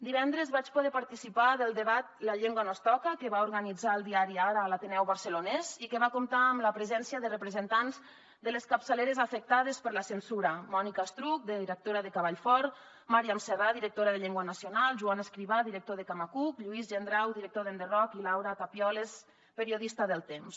divendres vaig poder participar en el debat la llengua no es toca que va organitzar el diari ara a l’ateneu barcelonès i que va comptar amb la presència de representants de les capçaleres afectades per la censura mònica estruch directora de cavall fort màriam serra directora de llengua nacionalde camacuc lluís gendrau director d’enderrocktemps